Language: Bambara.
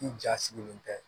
I ja sigilen tɛ